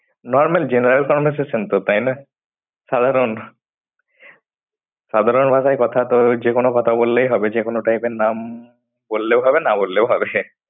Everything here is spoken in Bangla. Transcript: Normal genaral conversation তো তাই না? সাধারণ সাধারণ ভাষায় কথা তো যে কোনো কথা বললেই হবে যেকোনো type এর নাম বললেও হবে না বললেও হবে।